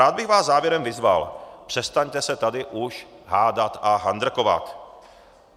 Rád bych vás závěrem vyzval: Přestaňte se tady už hádat a handrkovat.